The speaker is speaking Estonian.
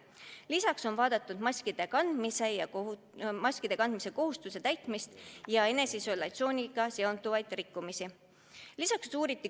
Lisaks on vaadatud maskide kandmise kohustuse täitmist ja eneseisolatsiooniga seonduvaid rikkumisi.